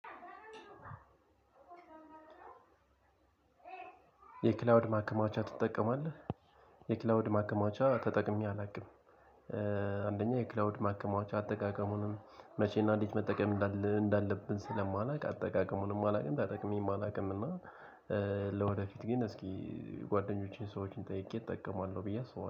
የክላውድ ማከማቻ ትጠቀማለህ? የክላውድ ማከማቻ ተጠቅሜ አላውቅም። አንደኛ የክላውድ ማከማቻ አጠቃቀሙንም መቼና እንዴት መጠቀም እንዳለ እንዳለብን ስለማላውቅ አጠቃቀሙንም አላውቅም። ተጠቅሜም አላውቅምና። ለወደፊት ግን እስኪ ጓደኞቼን ሰዎችን ጠይቄ እጠቀማለሁ ብዬ አስባለሁ